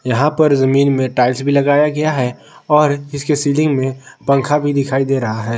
यहां पर जमीन में टाइल्स भी लगाया गया है और इसके सीलिंग में पंखा भी दिखाई दे रहा है।